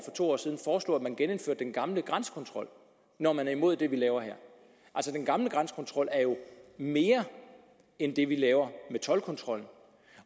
to år siden foreslog at man genindførte den gamle grænsekontrol når man er imod det vi laver her den gamle grænsekontrol er jo mere end det vi laver med toldkontrol